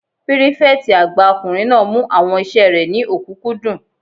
Pírífẹ̀tì àgbà ọkùnrin náà mú àwọn iṣẹ́ rẹ̀ ní òkúnkúndùn